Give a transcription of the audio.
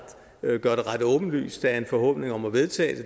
det gør det ret åbenlyst at en forhåbning om at vedtage